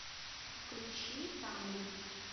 включи тамгу